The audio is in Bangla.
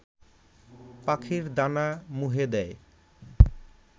পাখির দানা মুহে দেয়